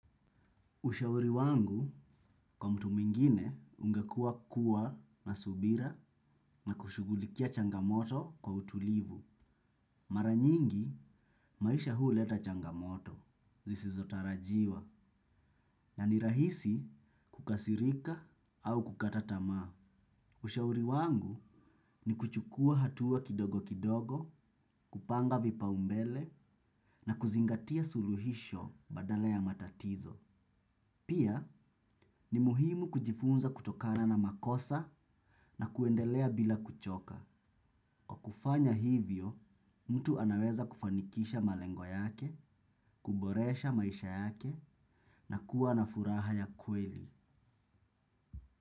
Ushauri wangu, kwa mtu mwingine, ungekuwa kuwa na subira na kushugulikia changamoto kwa utulivu. Mara nyingi, maisha huleta changamoto, zisizotarajiwa, na ni rahisi kukasirika au kukata tamaa. Ushauri wangu ni kuchukua hatua kidogo kidogo, kupanga vipaumbele na kuzingatia suluhisho badala ya matatizo. Pia ni muhimu kujifunza kutokana na makosa na kuendelea bila kuchoka. Kwa kufanya hivyo, mtu anaweza kufanikisha malengo yake, kuboresha maisha yake na kuwa na furaha ya kweli.